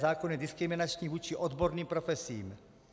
Zákon je diskriminační vůči odborným profesím.